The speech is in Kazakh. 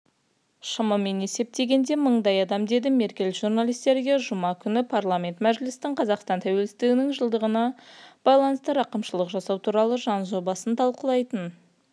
шамамен есептегенде мыңдай адам деді меркель журналистерге жұма күні парламент мәжілісінің қазақстан тәуелсіздігінің жылдығына байланысты рақымшылық жасау туралы заң жобасын талқлайтын